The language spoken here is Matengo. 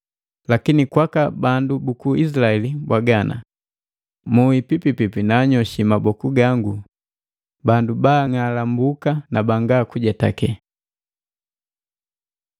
“Lakini kwaka bandu buku Izilaeli mbwaga ana, ‘Muhi pipi naanyoshi maboku gangu bandu baang'alambuka na banga kujetaka.’ ”